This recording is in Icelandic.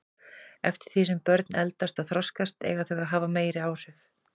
Eftir því sem börn eldast og þroskast eiga þau að hafa meiri áhrif.